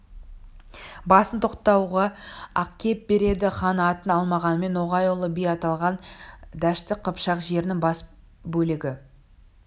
басын тоқтағуға әкеп береді хан атын алмағанмен ноғай ұлы би аталған дәшті қыпшақ жерінің батыс бөлегі